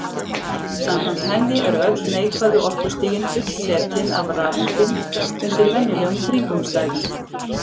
samkvæmt henni eru öll neikvæðu orkustigin fullsetin af rafeindum undir venjulegum kringumstæðum